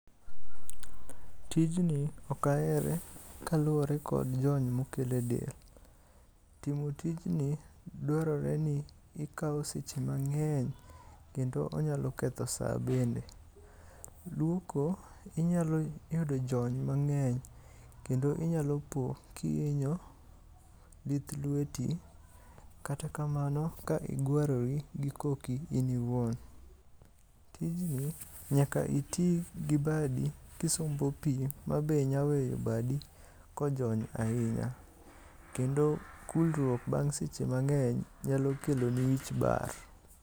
Tijni ok ahere kaluore kod jony mokelo e del. Timo tijni dwarore ni ikao seche mangeny kendo onyalo ketho saa bende. Luoko inyalo yudo jony mangeny kendo inyalo po kihinyo lith lweti kata kamano ka igwarori gi koki in iwuon. Tijni nyaka itii gi badi kisombo pii mabe nya weyo badi kojony ahinya kendo kulruok bang seche mangeny nyalo keloni wich bar